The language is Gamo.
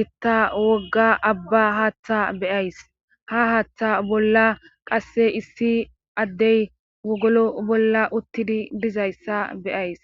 gitta wogga abba haaththa beyays. ha haaththa bolla qasse issi addey wogolo bolla uttidi dizayssa beyays.